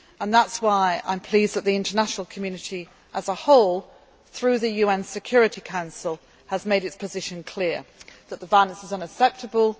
else. That is why I am pleased that the international community as a whole, through the UN Security Council, has made its position clear that the violence is